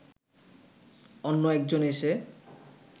অন্য একজন এসে